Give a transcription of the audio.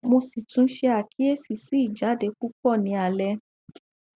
mo si tun se akiyesi si ijade pupo ni ale